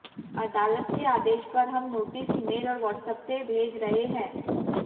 अदालत के आदेश पर हम नोटिस ईमेल और व्हाट्सएप से भेज रहे हैं